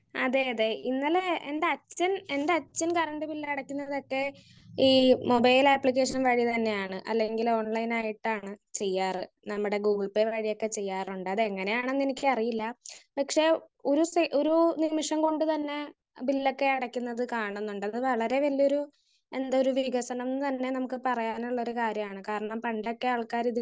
Speaker 1 അതെ അതെ ഇന്നലെ എന്റെ അച്ഛൻ എന്റെ അച്ഛൻ കറന്റ്‌ ബില്ല് അടക്കുന്നതൊക്ക ഈ മൊബൈൽ ആപ്ലിക്കേഷൻ വഴി തന്നെയാണ്. അല്ലെങ്കിൽ ഒൺലൈൻ ആയിട്ടാണ് ചെയ്യാറ്. നമ്മടെ ഗൂഗിൾ പേ വഴിയൊക്കെ ചെയ്യാറുണ്ട് അതെങ്ങനെയാണെന്ന് എനിക്കറിയില്ല. പക്ഷെ ഗൂഗിൾ പേ ഒരു നിമിഷം കൊണ്ട് തന്നെ ബില്ലൊക്കെ അടക്കുന്നത് കാണുന്നുണ്ട്. അത് വളരെ വലിയൊരു എന്തൊരു വികസനന്ന് തന്നെ നമുക്ക് പറയാനുള്ളൊരു കാര്യാണ്. കാരണം പണ്ടൊക്കെ ആള്ക്കാര്